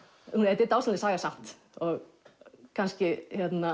þetta er dásamleg saga samt og kannski